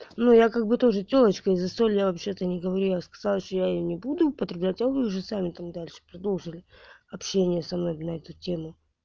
ну я как бы тоже тёлочка и за соль я вообще-то не говорила я сказала что я её не буду употреблять а вы уже сами там дальше продолжили общение со мной блядь на эту тему